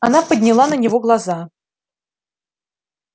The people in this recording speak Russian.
она подняла на него глаза